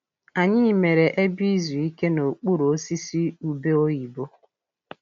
Anyị mere ebe izu ike n'okpuru osisi ube oyibo.